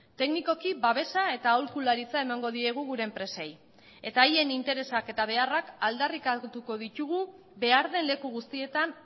teknikoki babesa eta aholkularitza emango diegu gure enpresei eta haien interesak eta beharrak aldarrikatuko ditugu behar den leku guztietan